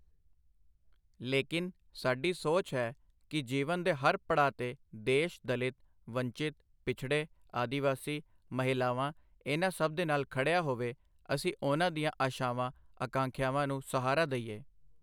ਲੇਕਿਨ, ਸਾਡੀ ਸੋਚ ਹੈ ਕਿ ਜੀਵਨ ਦੇ ਹਰ ਪੜਾਅ ਤੇ ਦੇਸ਼ ਦਲਿਤ, ਵੰਚਿਤ, ਪਿਛੜੇ, ਆਦਿਵਾਸੀ, ਮਹਿਲਾਵਾਂ ਇਨ੍ਹਾਂ ਸਭ ਦੇ ਨਾਲ ਖੜਿਆ ਹੋਵੇ, ਅਸੀਂ ਉਨ੍ਹਾਂ ਦੀਆਂ ਆਸ਼ਾਵਾਂ ਆਕਾਂਖਿਆਵਾਂ ਨੂੰ ਸਹਾਰਾ ਦਈਏ।